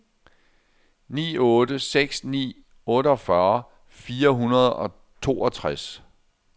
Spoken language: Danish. ni otte seks ni otteogfyrre fire hundrede og toogtres